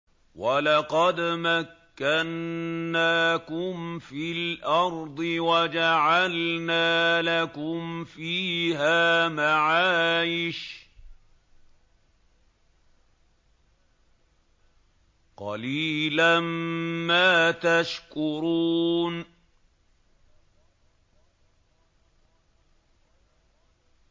وَلَقَدْ مَكَّنَّاكُمْ فِي الْأَرْضِ وَجَعَلْنَا لَكُمْ فِيهَا مَعَايِشَ ۗ قَلِيلًا مَّا تَشْكُرُونَ